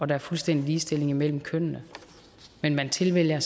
der er fuldstændig ligestilling imellem kønnene men man tilvælger